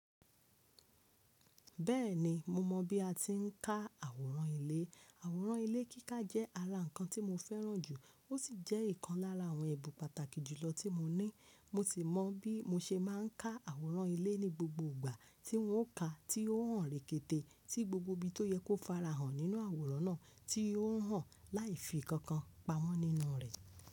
Bẹ́ẹ̀ni mo mọ̀ bí a ti ń ká àwòrán ilé. Àwòrán ilé kíká jẹ́ ara nǹkan tí mo fẹ́ràn jù, ó sì jẹ́ ìkan lára àwọn ẹ̀bùn pàtàkì jùlọ tí mo ní. Mo sì mọ bí mo ṣe máa ń ká àwòrán ilé ní gbogbo ìgbà tí n ó ka, tí ó hàn rekete tí gbogbo ibi tó yẹ kó fara hàn nínú àwòrán náà, tí ó hàn láìfi ìkankan pamọ́ nínú rẹ̀.